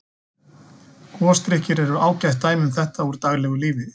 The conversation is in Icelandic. Gosdrykkir eru ágætt dæmi um þetta úr daglegu lífi.